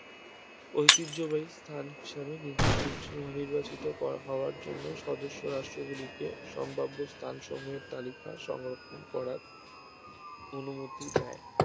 ঐতিহ্যবাহী স্থান হিসেবে নির~নিৰ্জ~ নির্বাচিত করা হওয়ার জন্য সদস্য রাষ্ট্রগুলিকে সম্ভাব্য স্থানসমূহের তালিকা সংরক্ষণ করার অনুমতি দেয়